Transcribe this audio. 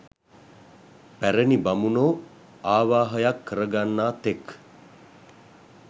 පැරැණි බමුණෝ ආවාහයක් කර ගන්නා තෙක්